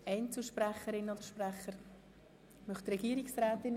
Oder wird das Wort von Einzelsprecherinnen oder -sprechern gewünscht?